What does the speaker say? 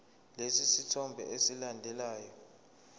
lesi sithombe esilandelayo